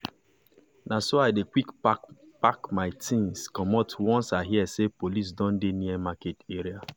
na so i dey quick pack pack my things commot once i hear say police don dey near market area.